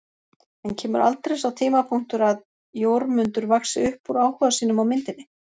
En kemur aldrei sá tímapunktur að Jórmundur vaxi upp úr áhuga sínum á myndinni?